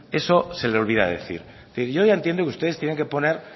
eso se lo olvida decir en fin yo ya entiendo que ustedes tienen que poner